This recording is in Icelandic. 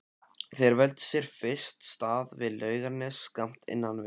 Þeir völdu sér fyrst stað við Laugarnes skammt innan við